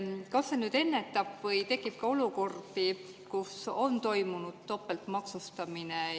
Kas see nüüd ennetab seda või tekib ka olukordi, kus on toimunud topeltmaksustamine?